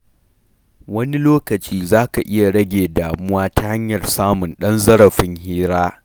Wani lokacin za ka iya rage damuwa ta hanyar samun ɗan zarafin hira.